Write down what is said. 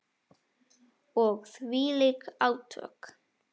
Og þvílík átök.